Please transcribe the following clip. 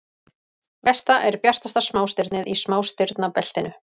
Vesta er bjartasta smástirnið í smástirnabeltinu.